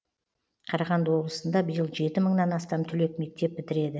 қарағанды облысында биыл жеті мыңнан астам түлек мектеп бітіреді